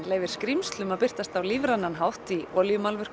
leyfir skrímslum að birtast á lífrænan hátt í